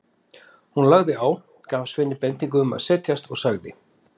Hún lagði á, gaf Sveini bendingu um að setjast og sagði